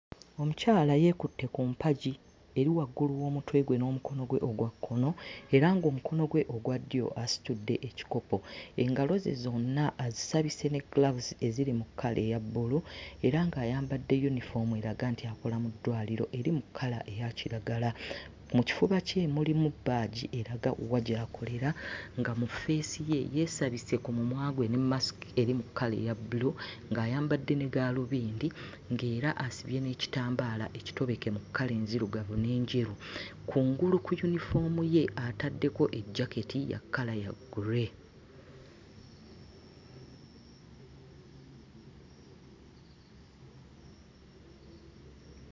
Omukyala yeekutte ku mpagi eri waggulu w'omutwe gwe n'omukono gwe ogwa kkono era ng'omukono gwe ogwa ddyo asitudde ekikopo. Engalo ze zonna azisabise ne ggiraavuzi eziri mu kkala eya bbulu era ng'ayambadde yunifoomu eraga nti akola mu ddwaliro eri mu kkala eya kiragala. Mu kifuba kye mulimu bbaaji eraga eraga wa gy'akolera nga mu ffeesi ye yeesabise ku mumwa gwe ne mmasiki eri mu kkala eya bbulu ng'ayambadde ne ggaalubindi ng'era asibye n'ekitambaala ekitobeke mu kkala enzirugavu n'ejeru kungulu ku yunifoomu ye ataddeko ejjaketi ya kkala ya gray.